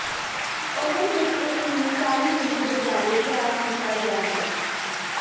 oven ਵਿਚ ਇਸ ਨੂੰ ਚਾਲੀ ਮਿੰਟ ਦੇ ਬਾਰੇ ਤਿਆਰ ਕੀਤਾ ਗਿਆ ਹੈ